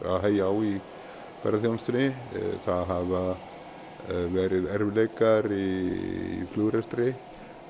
að hægja á í ferðaþjónustunni það hafa verið erfiðleikar í flugrekstri